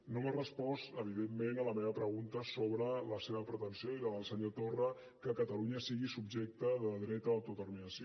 no m’ha respost evidentment a la meva pregunta sobre la seva pretensió i la del senyor torra que catalunya sigui subjecte del dret a l’autodeterminació